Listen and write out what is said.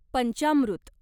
पंचामृत